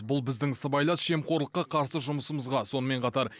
бұл біздің сыбайлас жемқорлыққа қарсы жұмысымызға сонымен қатар